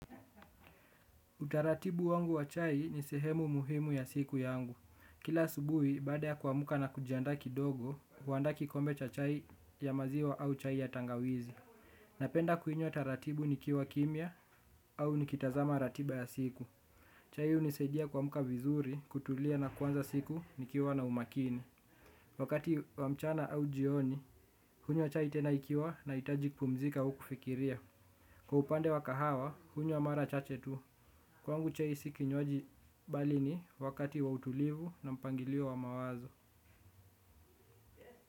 Utaratibu wangu wa chai ni sehemu muhimu ya siku yangu. Kila asubuhi, baada ya kuamka na kujianda kidogo, huandaa kikombe cha chai ya maziwa au chai ya tangawizi. Napenda kuinywa taratibu nikiwa kimya au nikitazama ratiba ya siku. Chai hunisaidia kuamka vizuri kutulia na kuanza siku nikiwa na umakini. Wakati wa mchana au jioni, hunywa chai tena ikiwa nahitaji kupumzika au kufikiria. Kwa upande wa kahawa, hunywa mara chache tu kwangu chai si kinywaji bali ni wakati wa utulivu na mpangilio wa mawazo.